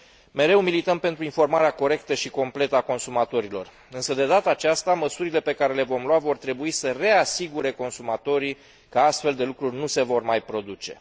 Mereu milităm pentru informarea corectă și completă a consumatorilor însă, de data aceasta, măsurile pe care le vom lua vor trebui să reasigure consumatorii că astfel de lucruri nu se vor mai produce.